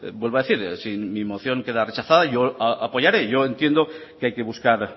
vuelvo a decir si mi moción queda rechazada yo apoyaré yo entiendo que hay que buscar